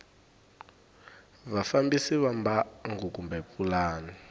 vafambisi va mbangu kumbe pulani